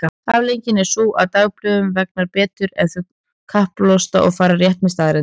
Afleiðingin er sú að dagblöðum vegnar betur ef þau kappkosta að fara rétt með staðreyndir.